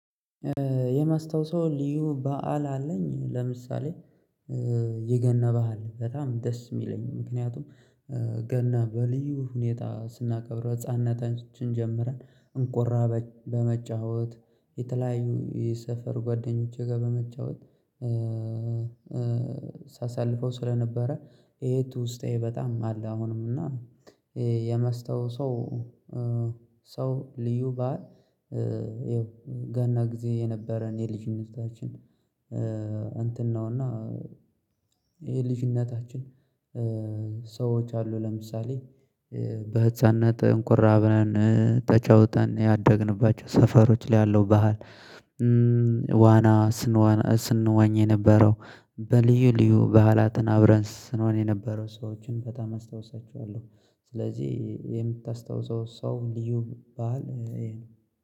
የማስታውሰው ልዩ በዓል አለኝ። ለምሳሌ የገና በዓል በጣም ደስ የሚለኝ ምክንያቱም ገና በልዩ ሁኔታ ስናከብር በህፃንነታችን ጀምረን እንቆራ በመጫወት የተለያዩ የሰፈር ጓደኞቼ ጋር በመጫወት ሳሳልፈው ስለነበረ። ይሄ ውስጤ በጣም አለ አሁንም እና የማስታውሰው ልዩ በዓል ይኸው ገና ጊዜ የነበረን የልጅነታችን እንትን ነውና። የልጅነታችን አሉ ለምሳሌ በህፃንነት እንቁራ ብለን ተጫውተን ያደግንባቸው ሰፈሮች ላይ ያለው ባህል ዋና ስንዋን ስንዋኝ የነበረው በልዩ ልዩ በዓላትን አብረን ስኖን የነበረው ሰዎችን በጣም አስታውሳችኋለሁ። ስለዚህ የምታስታውሰው ሰው ልዩ ባእል